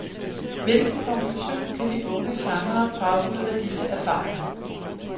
Hvilken konklusion kan de unge sangere drage ud af disse erfaringer.